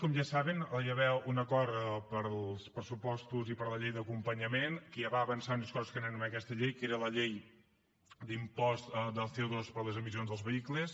com ja saben hi va haver un acord per als pressupostos i per a la llei d’acompanyament que ja va avançar unes coses que teníem en aquesta llei que era l’impost del coper les emissions dels vehicles